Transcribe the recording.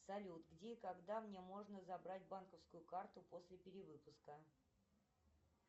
салют где и когда мне можно забрать банковскую карту после перевыпуска